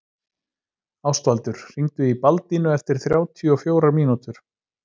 Ástvaldur, hringdu í Baldínu eftir þrjátíu og fjórar mínútur.